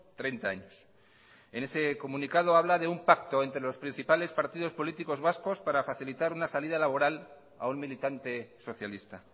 treinta años en ese comunicado habla de un pacto entre los principales partidos políticos vascos para facilitar una salida laboral a un militante socialista